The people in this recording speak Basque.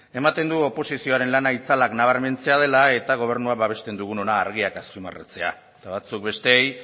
ematen du oposizioaren lana itzalak nabarmentzea dela eta gobernua babesten dugun hona argiak azpimarratzea eta batzuk besteei